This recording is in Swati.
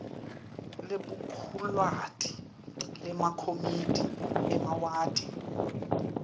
libhukulwati lemakomidi emawadi